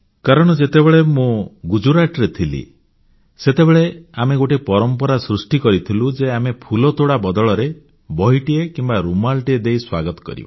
କାରଣ ଯେତେବେଳେ ମୁଁ ଗୁଜରାଟରେ ଥିଲି ସେତେବେଳେ ଆମେ ଗୋଟିଏ ପରମ୍ପରା ସୃଷ୍ଟି କରିଥିଲୁ ଯେ ଆମେ ଫୁଲତୋଡ଼ା ବଦଳରେ ବହିଟିଏ କିମ୍ବା ରୁମାଲଟିଏ ଦେଇ ସ୍ୱାଗତ କରିବା